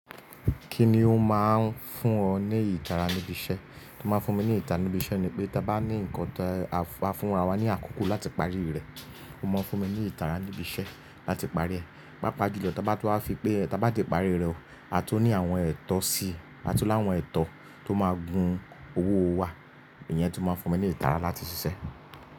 Kíni ó máa ń fún ọ ní ìtara níbi iṣẹ́? Ó máa ń fún mi ní ìtara níbi iṣẹ́ ni pé, tí a bá ní nǹkan ti á fúnra wa ní àkókò láti parí rẹ̀, ó máa ń fún mi ní ìtara níbi iṣẹ́ láti parí rẹ̀. Pápá julọ tí a bá tun wa fi pé tí a bá ti parí rẹ̀ o, a tun ní àwọn ètò síi, a tun ní àwọn ètò tó máa gun owó wa, ìyẹn tun máa ń fún mi ní ìtara láti ṣiṣẹ́.